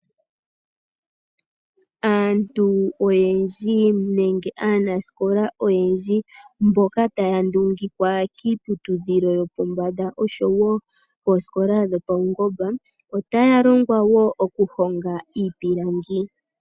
Aantu oyendji nenge aanasikola oyendji mboka taya nongekwa kiiputudhilo yopombanda osho wo oosikola dhopaungomba. Otaya longwa woo oku honga iipilangi. Taya ndulukapo iipundi niitaafuula ya landithe yo ya mone iimaliwa yokwiikwatha.